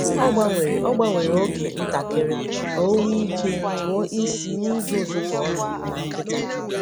Ọ gbanwere Ọ gbanwere oge ntakịrị ka o nwee ike tụọ isi n’ije ụtụtụ ọnụ na nkịta.